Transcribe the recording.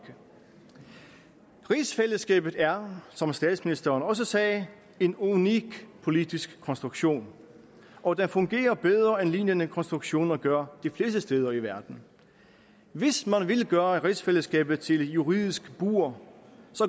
rigsfællesskabet er som statsministeren også sagde en unik politisk konstruktion og den fungerer bedre end lignende konstruktioner gør de fleste steder i verden hvis man vil gøre rigsfællesskabet til et juridisk bur